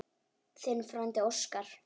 Þinn frændi Óskar.